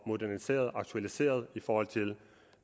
moderniseret og aktualiseret i forhold til